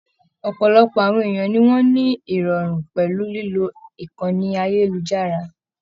Ọpọlọpọ àwọn èèyàn ni wọn ni irọrun pẹlú lilo ìkànnì ayelujara.